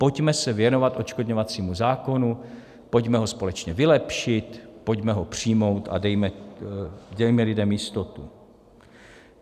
Pojďme se věnovat odškodňovacímu zákonu, pojďme ho společně vylepšit, pojďme ho přijmout a dejme lidem jistotu.